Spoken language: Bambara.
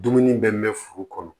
Dumuni bɛ mɛn furu kɔnɔ